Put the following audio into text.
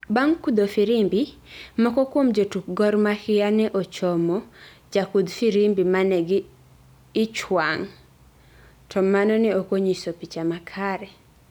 bang kudho firimbi moko kuom jotuk Gor Mahia ne ochomo ja kudh firimbi mane gi ichwang to mano ne okonyiso picha makare